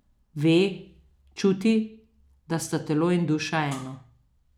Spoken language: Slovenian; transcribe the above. Ve, čuti, da sta telo in duša eno.